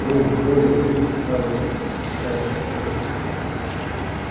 ох горе-то радостно запричитала соседка